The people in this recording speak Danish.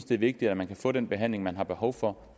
det er vigtigt at man kan få den behandling man har behov for